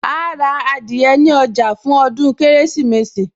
Àà ra adìyẹ ní ọjà fún ọdún Kérésìmesì